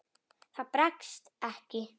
Það bregst ekki.